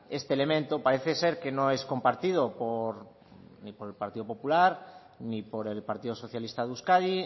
este elemento parece ser que no es compartido por ni por el partido popular ni por el partido socialista de euskadi